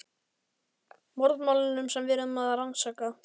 Morðmálunum sem við erum að rannsaka.